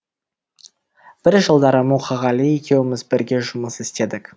бір жылдары мұқағали екеуміз бірге жұмыс істедік